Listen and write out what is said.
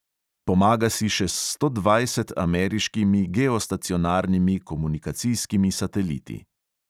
Pomaga si še s sto dvajset ameriškimi geostacionarnimi komunikacijskimi sateliti.